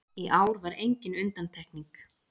Í ár var engin undantekning